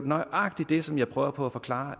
nøjagtig det som jeg prøver på at forklare